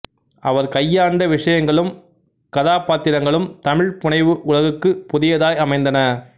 அவர் கையாண்ட விஷயங்களும் கதாபாத்திரங்களும் தமிழ்ப் புனைவு உலகுக்குப் புதியதாய் அமைந்தன